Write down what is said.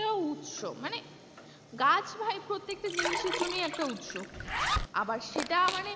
উৎস মানে গাছ ভাই প্রত্যেকটা জিনিসের জন্যই একটা উৎস আবার সেটা মানে,